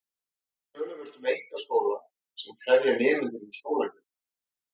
Þó er töluvert um einkaskóla sem krefja nemendur um skólagjöld.